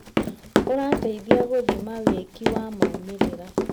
ũrateithia gũthima wĩki wa maumĩrĩra.